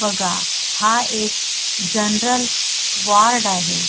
बघा हा एक जनरल वार्ड आहे.